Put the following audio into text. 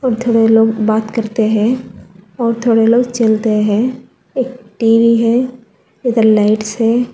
और थोड़े लोग बात करते हैं और थोड़े लोग चलते हैं एक टी_वी है इधर लाइट्स है।